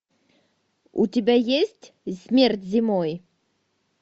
у тебя есть смерть зимой